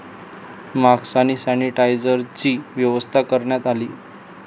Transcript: Mask आणि सॅनिटायजरची व्यवस्था करण्यात आली.